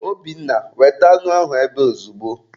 Obinna, weta anụ ahụ ebe a ozugbo!